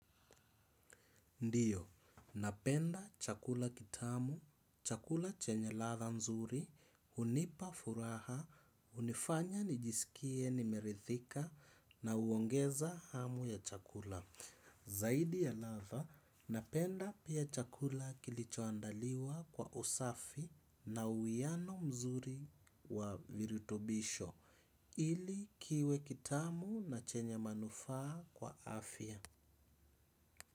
Ndiyo, napenda chakula kitamu, chakula chenye ladha nzuri, hunipa furaha, hunifanya nijisikie nimeridhika na huongeza hamu ya chakula. Zaidi ya ladha, napenda pia chakula kilichoandaliwa kwa usafi na uwiano mzuri wa virutubisho ili kiwe kitamu na chenye manufaa kwa afya.